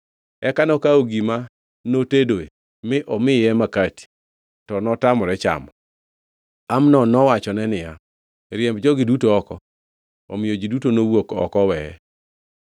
Eka nokawo gima notedoe mi omiye makati, to notamore chamo. Amnon nowachone niya, “Riemb jogi duto oko.” Omiyo ji duto nowuok oko oweye.